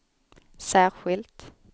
särskilt